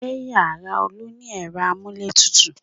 Ṣé yàrá Olu ni ẹ̀rọ amúlétutù?